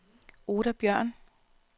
Oda Bjørn